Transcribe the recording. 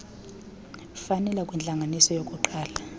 fanele kwintlanganiso yokuqala